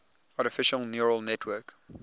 artificial neural network